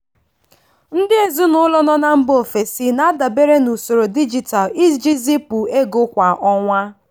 ndị ezinụlọ nọ mba ofesi na-adabere na usoro dijitalụ iji zipụ ego kwa ọnwa.